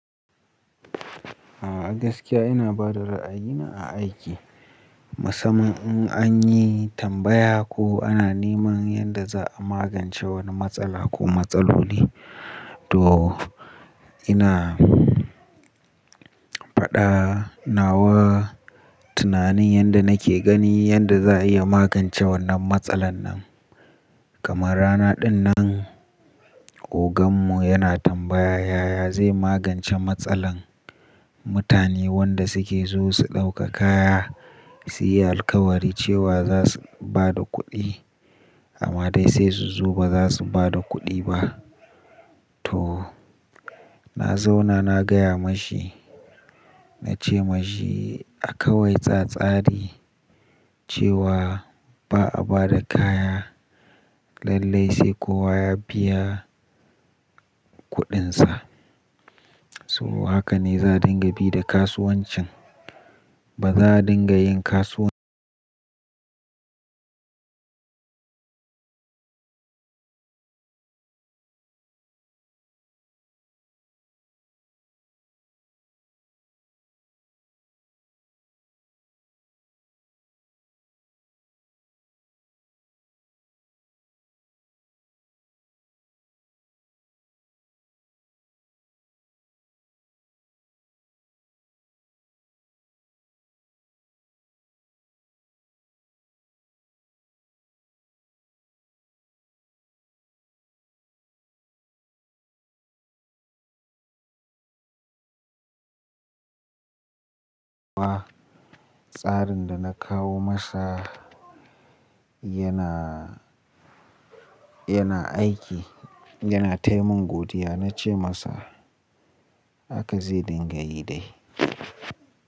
A gaskiya ina ba da ra'ayina a aiki. Musamman in an yi tambaya ko ana neman yadda za a magance wani matsala ko matsaloli. To ina faɗa nawa tunanin yadda nake gani yadda za a iya magance wannan matsalan nan. Kamar rana dinnan ogan mu yana tambaya yaya zai magance matsalar mutane wanda suke zo su ɗauka kaya su yi alkawari cewa za su ba da kuɗi amma dai sai su zo ba za su ba da kuɗi ba. To na zauna na gaya mashi, na ce mashi a kawai tsattsari cewa ba a ba da kaya lallai sai kowa ya biya kuɗin sa. Saboda haka ne za a dinga bi da kasuwancin. Ba za a dinga yin kasuwan-- tsarin da na kawo masa yana, yana aiki, yana taimin godiya. Na ce masa haka zai dinga yi dai.